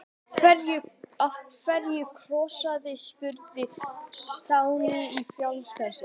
Af hverju kross? spurði Stjáni í fávisku sinni.